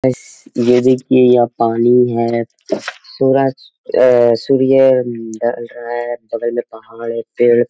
guys ये दिखये ये पानी है सूरज एए सूर्य ढल रहा है बगल में पहाड़ है पेड़--